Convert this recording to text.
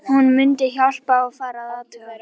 Hún mundi hjálpa, fara og athuga